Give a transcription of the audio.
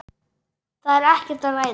Það er ekkert að ræða.